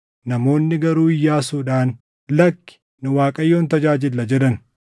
Namoonni garuu Iyyaasuudhaan, “Lakki! Nu Waaqayyoon tajaajilla” jedhan.